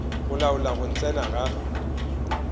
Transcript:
go laola go tsena ga